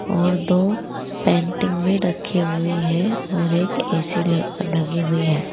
और दो पेंटिंग रखे हुए हैं और एक ए_सी लगी हुई है।